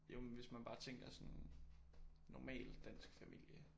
Jo men hvis man bare tænker sådan normal dansk familie